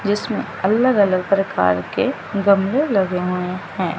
जीसमें अलग अलग प्रकार के गमले लगे हुए हैं।